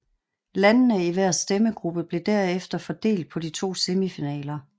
Landene i hver stemmegruppe blev derefter fordelt på de to semifinaler